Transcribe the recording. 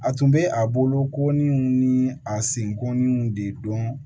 A tun bɛ a bolo ko ni a senkɔninw de dɔn